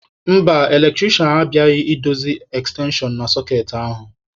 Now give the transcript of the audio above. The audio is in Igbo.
Mba, eletrisha abịabeghị idozi ekstenshon na sọkeetị ahụ.